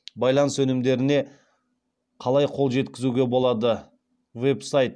байланыс өнімдеріне қалай қол жеткізуге болады веб сайт